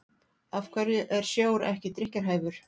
af hverju er sjór ekki drykkjarhæfur